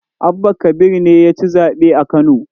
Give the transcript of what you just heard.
Abba kabir ne ya ci zaɓe a Kano.